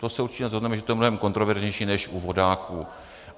To se určitě shodneme, že to je mnohem kontroverznější než u vodáků.